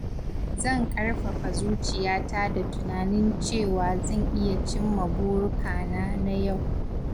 Zan ƙarfafa zuciyata da tunanin cewa zan iya cimma burukana na yau.